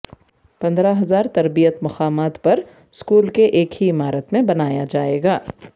پندرہ ہزار تربیت مقامات پر اسکول کے ایک ہی عمارت میں بنایا جائے گا